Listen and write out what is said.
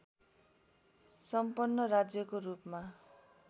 सम्पन्न राज्यको रूपमा